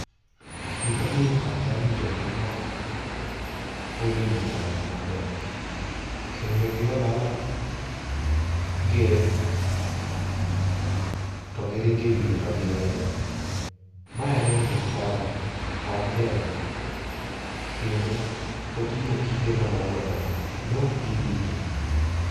Gima biro e pacha ni jogi neok odino ndara ni maber kendo ne giolo aola gee to giringo e wiye to giweyo, mae ema omiyo ndarani ok ber kendo otimo kite madongo dongo, ne ok gidine